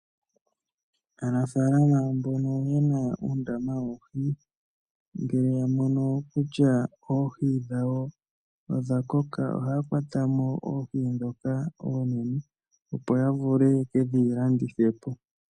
Aanafalama mbono ye na uundama woohi ngele ya mono kutya oohi dhawo odha koka ohaya kwata mo oohi ndhoka oonene, opo ya vule ye ke dhi landithe po.